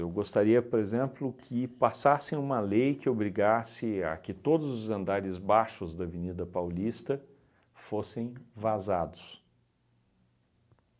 gostaria, por exemplo, que passassem uma lei que obrigasse a que todos os andares baixos da Avenida Paulista fossem vazados.